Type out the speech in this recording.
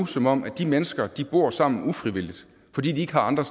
som om de mennesker bor sammen ufrivilligt fordi de ikke har andre